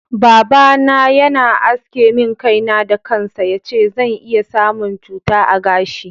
Baba na Yana aske min kai na da kansa, yace zan iya samun cuta a gashi.